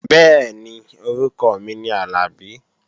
Bẹ́ẹ̀ni, orúkọ mi ni Àlàbí